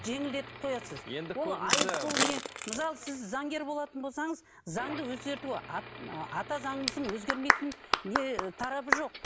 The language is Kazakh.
жеңілдетіп қоясыз енді көрдіңіз бе бұл мысалы сіз заңгер болатын болсаңыз заңды өзгерту ата заңымыздың өзгермейтін не тарабы жоқ